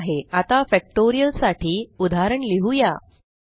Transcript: ठीक आहे आता फॅक्टोरियल साठी उदाहरण लिहुया